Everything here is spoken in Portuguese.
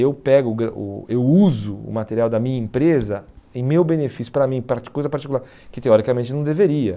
Eu pego o eu uso o material da minha empresa em meu benefício, para mim, para coisa particular, que teoricamente não deveria.